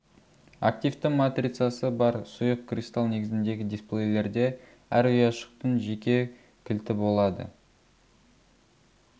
активті матрицасы бар сұйық кристал негізіндегі дисплейлерде әр ұяшықтың жеке кілті болады